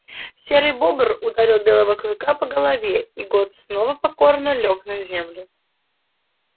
серый бобр ударил белого клыка по голове и гот снова покорно лёг на землю